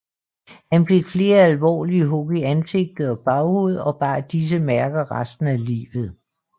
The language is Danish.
Han fik flere alvorlige hug i ansigt og baghoved og bar disse mærker resten af livet